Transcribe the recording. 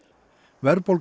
verðbólga